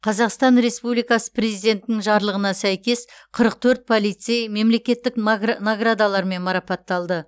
қазақстан республикасы президентінің жарлығына сәйкес қырық төрт полицей мемлекеттік наградалармен марапатталды